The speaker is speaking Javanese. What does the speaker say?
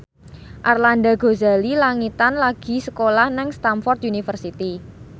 Arlanda Ghazali Langitan lagi sekolah nang Stamford University